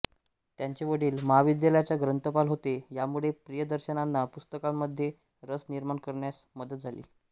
त्यांचे वडील महाविद्यालयाचे ग्रंथपाल होते यामुळे प्रियदर्शनांना पुस्तकांमध्ये रस निर्माण करण्यास मदत झाली